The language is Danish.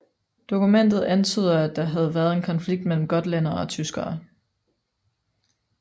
Dokumentet antyder at der havde været en konflikt mellem gotlændere og tyskere